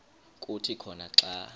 kuthi khona xa